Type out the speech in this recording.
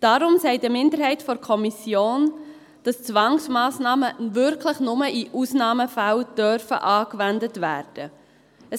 Deshalb sagt eine Minderheit der Kommission, dass Zwangsmassnahmen wirklich nur in Ausnahmefällen angewendet werden dürfen.